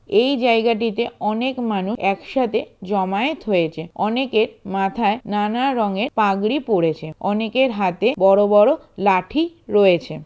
এই জায়গাটিতে অনেক মানুষ একসাথে জমায়েত হয়েছে। অনেকের মাথায় নানা রঙে পাগড়ি পড়েছে। অনেকের হাতে বড় বড় লাঠি রয়েছে।